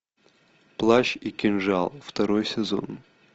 плащ и кинжал второй сезон